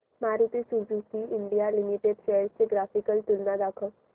Maruti Suzuki India limited shares ची graphical तुलना दाखव